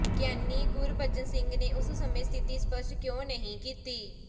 ਗਿਆਨੀ ਗੁਰਬਚਨ ਸਿੰਘ ਨੇ ਉਸ ਸਮੇ ਸਥਿਤੀ ਸ਼ਪਸ਼ਟ ਕਿਉਂ ਨਹੀ ਕੀਤੀ